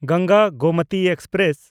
Ganga Gomti express